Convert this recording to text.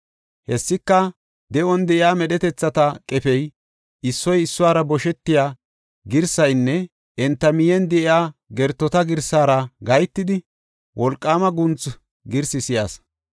Hessika, de7on de7iya medhetethata qefey issoy issuwara boshetiya girsaynne enta miyen de7iya gertota girsaara gahetidi, wolqaama guuntha girsi si7as.